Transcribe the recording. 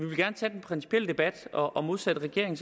vil gerne tage den principielle debat og modsat regeringen